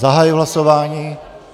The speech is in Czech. Zahajuji hlasování.